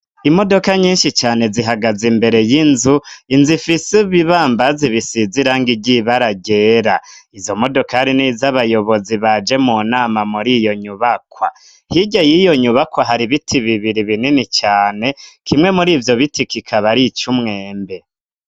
Imodoka nyinshi cane zihagaze imbere y'inzu, inzu ifise ibibambazi bisize irangi ryera, izo modokari niz' abayobozi baje mu nama muri iyo nyubakwa, hirya y'iyo nyubakwa, hari ibiti bibiri binini cane, kimwe muri ivyo biti, kikaba ari ic'umwembe.